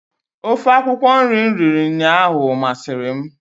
Ofe akwukwọ nri m riri ụnyaahụ masịrị m.